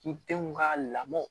K'i denw ka lamɔ